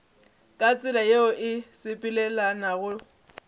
ka tsela yeo e sepelelanago